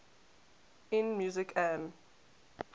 in music an